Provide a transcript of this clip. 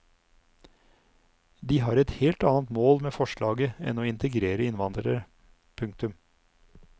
De har et helt annet mål med forslaget enn å integrere innvandrere. punktum